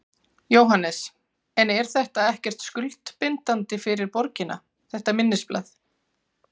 Jóhannes: En er þetta ekkert skuldbindandi fyrir borgina, þetta minnisblað?